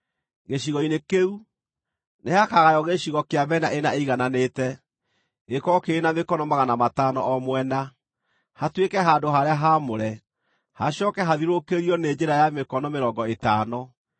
Gĩcigo-inĩ kĩu, nĩhakagaywo gĩcigo kĩa mĩena ĩna ĩigananĩte, gĩkorwo kĩrĩ na mĩkono 500 o mwena, hatuĩke handũ-harĩa-haamũre, hacooke hathiũrũrũkĩrio nĩ njĩra ya mĩkono mĩrongo ĩtano.